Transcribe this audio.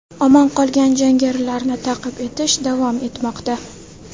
Omon qolgan jangarilarni ta’qib etish davom etmoqda.